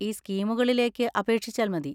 ഈ സ്കീമുകളിലേക്ക് അപേക്ഷിച്ചാൽ മതി.